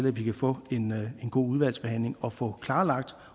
at vi kan få en god udvalgsbehandling og få klarlagt